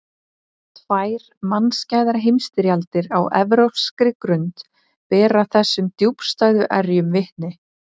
Tvær mannskæðar heimsstyrjaldir á evrópskri grund bera þessum djúpstæðu erjum vitni.